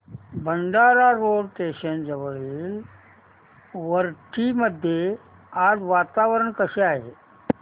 Bhandara road station जवळील वरठी मध्ये आज वातावरण कसे आहे